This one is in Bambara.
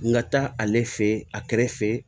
N ka taa ale fe yen a kɛrɛ fɛ